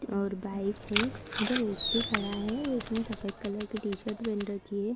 और बाइक है जो वयक्ति खड़ा है उसने सफ़ेद कलर की टी-शर्ट पहन रखी है।